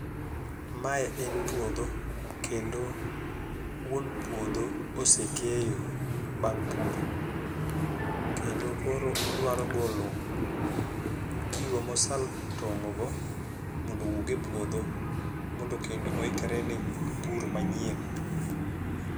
Mae en puodho kendo wuon puodho osekeyo bang' puro kendo koro odwaro golo gigo mosatong'o go mondo owuk e puodho mondo kendo oikre ne pur manyien